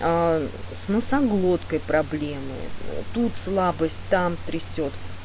аа с носоглоткой проблемы тут слабость там трясёт